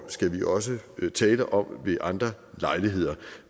skal vi også tale om ved andre lejligheder